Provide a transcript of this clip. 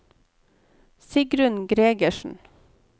Sigrunn Gregersen